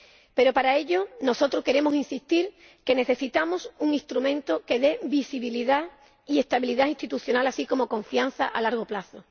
Pero para ello, nosotros queremos insistir en que necesitamos un instrumento que dé visibilidad y estabilidad institucional, así como confianza a largo plazo.